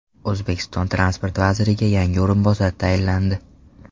O‘zbekiston transport vaziriga yangi o‘rinbosar tayinlandi.